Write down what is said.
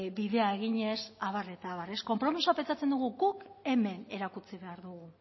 bidea eginez abar eta abar konpromisoa pentsatzen dugu guk hemen erakutsi behar dugu